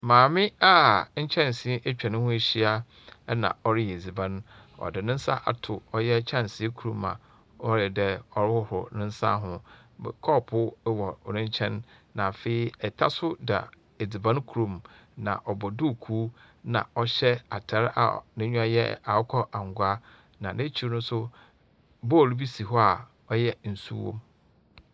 Maame a nkyɛnse atwa ne ho ehyia na ɔreyɛ edziban. Ɔde ne nsa ato kyɛnse kor mu a ɔyɛ dɛ ɔrehorhoro ne nsa ho. M kɔɔpoo wɔ ne nkyɛn na afei ta nso da edziban kor mu, na ɔbɔ duukuu, na ɔhyɛ atar a n'enyiwa yɛ akokɔ angua. Na n'ekyir no nso, bowl bi si hɔ a ɔyɛ nsuo wom.